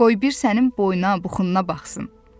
Qoy bir sənin boyuna, buxununa baxsın.